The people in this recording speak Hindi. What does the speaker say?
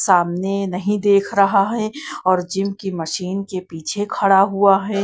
सामने नहीं देख रहा है और जिम की मशीन के पीछे खड़ा हुआ है।